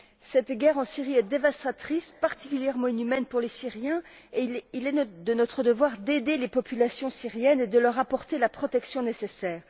Cette guerre en Syrie est dévastatrice, particulièrement inhumaine pour les Syriens, et il est de notre devoir d'aider les populations syriennes et de leur apporter la protection nécessaire.